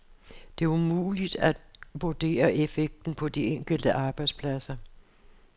Det er umuligt at vurdere effekten på de enkelte arbejdspladser.